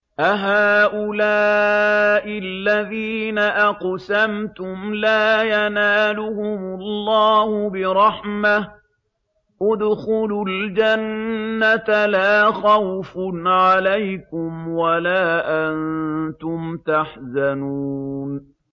أَهَٰؤُلَاءِ الَّذِينَ أَقْسَمْتُمْ لَا يَنَالُهُمُ اللَّهُ بِرَحْمَةٍ ۚ ادْخُلُوا الْجَنَّةَ لَا خَوْفٌ عَلَيْكُمْ وَلَا أَنتُمْ تَحْزَنُونَ